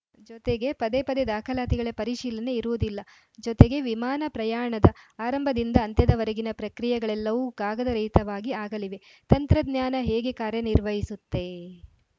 ಜೊತೆಗೆ ಪದೇ ಪದೇ ದಾಖಲಾತಿಗಳ ಪರಿಶೀಲನೆ ಇರುವುದಿಲ್ಲ ಜೊತೆಗೆ ವಿಮಾನ ಪ್ರಯಾಣದ ಆರಂಭದಿಂದ ಅಂತ್ಯದ ವರೆಗೆಗಿನ ಪ್ರಕ್ರಿಯೆಗಳೆಲ್ಲವೂ ಕಾಗದರಹಿತವಾಗಿ ಆಗಲಿವೆ ತಂತ್ರಜ್ಞಾನ ಹೇಗೆ ಕಾರ್ಯನಿರ್ವಹಿಸುತ್ತೆ